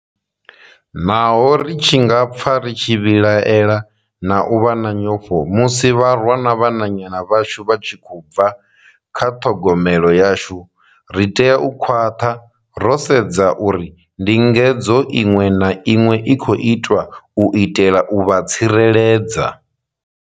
Naho ri tshi nga pfa ri tshi vhilaela na u vha na nyofho musi vharwa na vhananyana vhashu vha tshi khou bva kha ṱhogomelo yashu, ri tea u khwaṱha ro sedza uri ndingedzo iṅwe na iṅwe i khou itwa u itela u vha tsireledza.